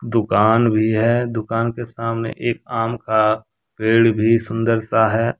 दुकान भी है दुकान के सामने एक आम का पेड़ भी सुंदर सा है।